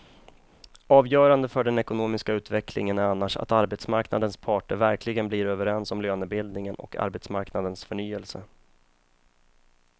Avgörande för den ekonomiska utvecklingen är annars att arbetsmarknadens parter verkligen blir överens om lönebildningen och arbetsmarknadens förnyelse.